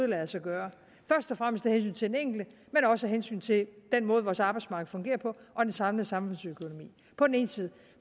lader sig gøre først og fremmest af hensyn til den enkelte men også af hensyn til den måde vores arbejdsmarked fungerer på og den samlede samfundsøkonomi på den ene side